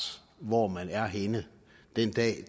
hvor man er henne den dag